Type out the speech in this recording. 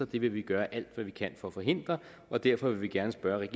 det vil vi gøre alt hvad vi kan for at forhindre derfor vil vi gerne spørge